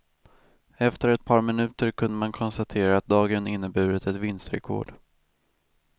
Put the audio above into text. Efter ett par minuter kunde man konstatera att dagen inneburit ett vinstrekord.